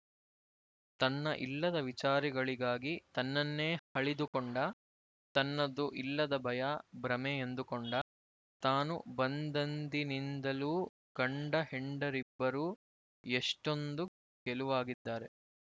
ತನ್ನ ಇಲ್ಲದ ವಿಚಾರಗಳಿಗಾಗಿ ತನ್ನನ್ನೇ ಹಳಿದುಕೊಂಡ ತನ್ನದು ಇಲ್ಲದ ಭಯ ಭ್ರಮೆ ಎಂದುಕೊಂಡ ತಾನು ಬಂದಂದಿನಿಂದಲೂ ಗಂಡ ಹೆಂಡಿರಿಬ್ಬರೂ ಎಷೆ್ಟೂಂದು ಗೆಲುವಾಗಿದ್ದಾರೆ